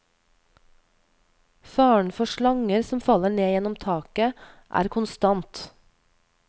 Faren for slanger som faller ned gjennom taket, er konstant.